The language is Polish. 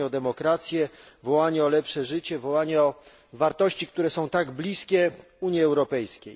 Wołanie o demokrację, wołanie o lepsze życie, o wartości, które są tak bliskie Unii Europejskiej.